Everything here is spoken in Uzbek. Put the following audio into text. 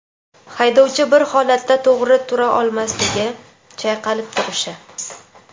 haydovchi bir holatda to‘g‘ri tura olmasligi (chayqalib turishi);.